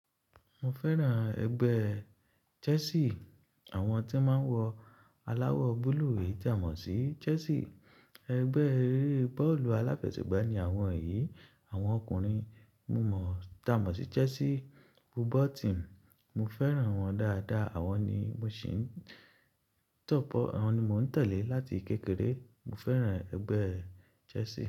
Mo fẹ́ràn ẹgbẹ́ Chelsea, àwọn tí máa ń wọ aláwọ̀ búlúù yìí tà mọ̀ sí Chelsea. Ẹgbẹ́ eré bọ́ọ̀lù aláfẹsẹ̀gbá ni àwọn yìí, àwọn ọkùnrin. Mo mọ̀, tà mọ̀ sí Chelsea football team. Mo fẹ́ràn wọn dáadáa, àwọn ni mò ń tẹ̀lé láti kékeré. Mo fẹ́ràn ẹgbẹ́ Chelsea.